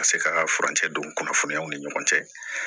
Ka se ka furancɛ don kunnafoniyaw ni ɲɔgɔn cɛ